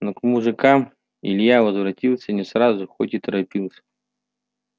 но к мужикам илья возвратился не сразу хоть и торопился